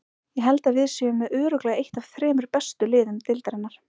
Ég held að við séum með örugglega eitt af þremur bestu liðum deildarinnar.